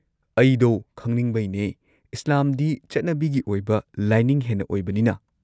ꯑꯩꯗꯣ ꯈꯪꯅꯤꯡꯕꯩꯅꯦ, ꯏꯁꯂꯥꯝꯗꯤ ꯆꯠꯅꯤꯕꯤꯒꯤ ꯑꯣꯏꯕ ꯂꯥꯏꯅꯤꯡ ꯍꯦꯟꯅ ꯑꯣꯏꯕꯅꯤꯅ꯫